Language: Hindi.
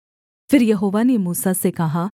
फिर यहोवा ने मूसा से कहा